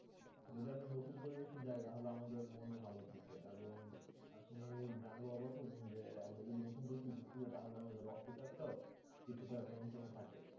যদি আমরা নতুন পরিবেশে যাই তাহলে আমাদের মন ও ভালো থাকে এবং আপনি জানলেও অবাক হবেন যে, আমরা যদি নতুন পরিবেশে ঘুরতে যাই তাহলে আমাদের রক্ত চাপ টাও কিছুটা নিয়ন্ত্রনে থাকে।